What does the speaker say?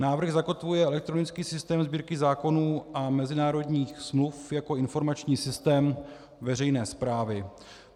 Návrh zakotvuje elektronický systém Sbírky zákonů a mezinárodních smluv jako informační systém veřejné správy.